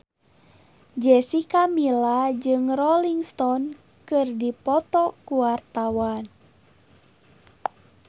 Jessica Milla jeung Rolling Stone keur dipoto ku wartawan